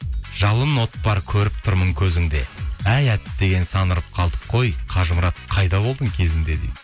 жалын от бар көріп тұрмын көзіңде әй әттеген сан ұрып қалдық қой қажымұрат қайда болдың кезінде дейді